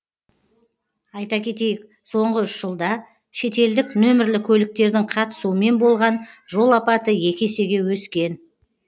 айта кетейік соңғы үш жылда шетелдік нөмірлі көліктердің қатысуымен болған жол апаты екі есеге өскен